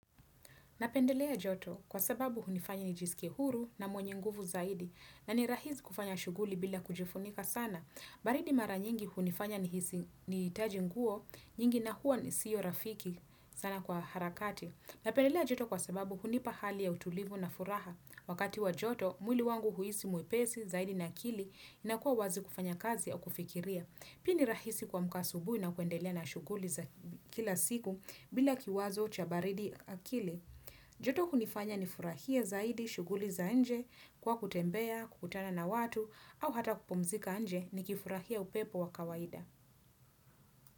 Napendelea joto kwa sababu hunifanya nijiskie huru na mwenye nguvu zaidi na ni rahisi kufanya shughuli bila kujifunika sana. Baridi mara nyingi hunifanya nihtaji nguo nyingi na huwa ni siyo rafiki sana kwa harakati. Napendelea joto kwa sababu hunipa hali ya utulivu na furaha. Wakati wa joto, mwili wangu huisi mwepesi zaidi na akili inakuwa wazi kufanya kazi au kufikiria. Pia nirahisi kuamka asubui kuendelea na shughuli za kila siku bila kiwazo cha baridi akili. Joto hunifanya ni furahie zaidi shughuli za nje kwa kutembea, kutana na watu au hata kupumzika nje ni kifurahia upepo wa kawaida.